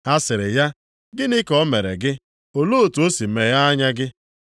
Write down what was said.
Ha sịrị ya, “Gịnị ka o mere gị? Olee otu o si meghe anya gị?”